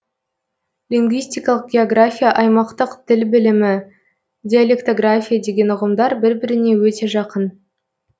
лингвистикалық география аймақтық тіл білімі диалектография деген ұғымдар бір біріне өте жақын